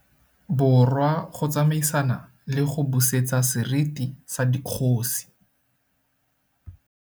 Borwa go tsamaisana le go busetsa seriti sa dikgosi.